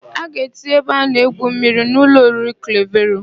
A ga-etinye ebe a na-egwu mmiri n' ụlọ oriri Klevero.